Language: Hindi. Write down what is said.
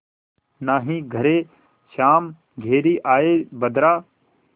नाहीं घरे श्याम घेरि आये बदरा